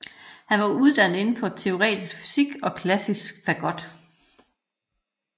Han var uddannet inden for både teoretisk fysik og klassisk fagot